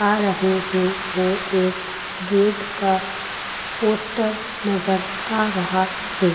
आ रहे है। वो एक गेट का पोस्टर नजर आ रहा है।